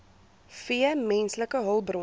v menslike hulpbronne